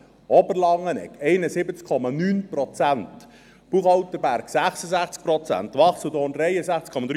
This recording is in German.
Oberlangenegg: 71,9 Prozent, Buchholterberg: 66 Prozent, Wachseldorn: 63,3 Prozent.